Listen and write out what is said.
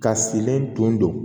Ka silen tun don